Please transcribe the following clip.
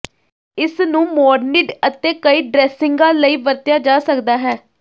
ਇਸ ਨੂੰ ਮੋਰਨੀਡ ਅਤੇ ਕਈ ਡ੍ਰੈਸਿੰਗਾਂ ਲਈ ਵਰਤਿਆ ਜਾ ਸਕਦਾ ਹੈ